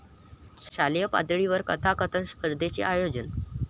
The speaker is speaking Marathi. शालेय पातळीवर कथाकथन स्पर्धेचे आयोजन